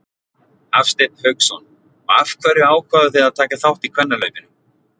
Hafsteinn Hauksson: Og af hverju ákváðuð þið að taka þátt í kvennahlaupinu?